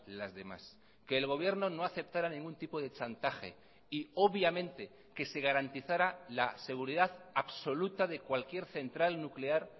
las demás que el gobierno no aceptara ningún tipo de chantaje y obviamente que se garantizara la seguridad absoluta de cualquier central nuclear